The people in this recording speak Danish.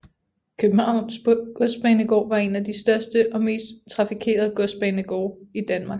Københavns Godsbanegård var en af de største og mest trafikerede godsbanegårde i Danmark